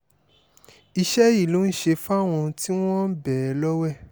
iṣẹ́ yìí ló ń ṣe fáwọn tí wọ́n ń bẹ́ẹ̀ lọ́wẹ̀